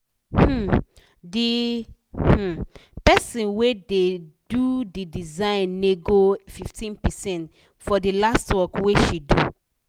um d um person wey da do d design nego fifteen percent for the last work wey she do